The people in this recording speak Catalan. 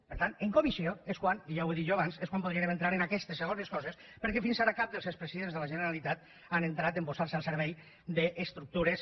per tant en comissió és quan ja ho he dit jo abans podríem entrar en aquestes segones coses perquè fins ara cap dels expresidents de la generalitat han entrat a posar se al servei d’estructures